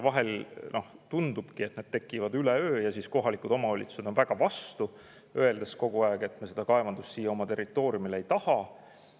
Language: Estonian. Vahel tundubki, et nad tekivad üleöö ja siis kohalikud omavalitsused on väga vastu, öeldes kogu aeg, et nad seda kaevandust siia oma territooriumile ei taha.